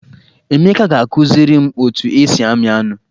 Emeka ga-akụziri m otu esi amị anụ.